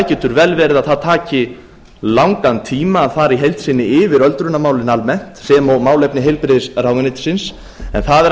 getur vel verið að það taki langan tíma að fara í heild sinni yfir öldrunarmálin almennt sem og málefni heilbrigðisráðuneytisins en það er að